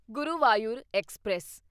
Guruvayur express